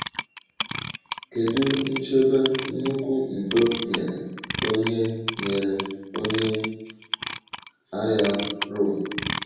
Kedu nchebe nnukwu ndo nyere onye nyere onye um agha Rom?